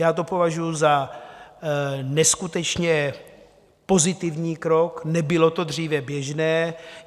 Já to považuji za neskutečně pozitivní krok, nebylo to dříve běžné.